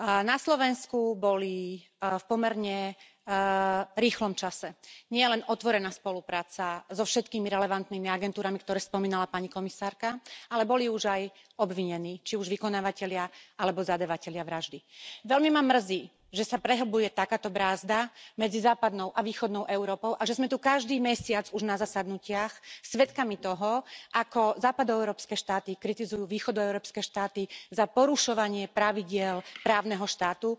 Na Slovensku boli v pomerne rýchlom čase nielen otvorená spolupráca so všetkými relevantnými agentúrami, ktoré spomínala pani komisárka, ale boli už aj obvinení, či už vykonávatelia alebo zadávatelia vraždy. Veľmi ma mrzí, že sa prehlbuje takáto brázda medzi západnou a východnou Európou a že sme tu každý mesiac už na zasadnutiach svedkami toho, ako západoeurópske štáty kritizujú východoeurópske štáty za porušovanie pravidiel právneho štátu.